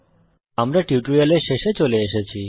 আমরা এই টিউটোরিয়ালের শেষে চলে এসেছি